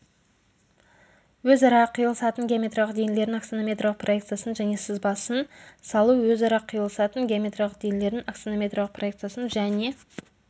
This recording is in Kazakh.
өзара қиылысатын геометриялық денелердің аксонометриялық проекциясын және сызбасын салу өзара қиылысатын геометриялық денелердің аксонометриялық проекциясын және